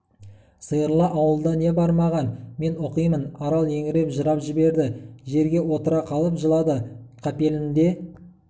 сиырлы ауылда не бар маған мен оқимын арал еңіреп жылап жіберді жерге отыра қалып жылады қапелімде